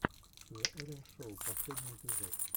зе эллен шоу последний эпизод